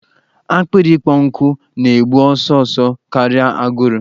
Akpịrị ikpọ nkụ na-egbu ọsọ ọsọ karịa agụrụ.